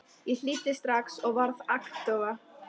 Ég hlýddi strax og varð agndofa.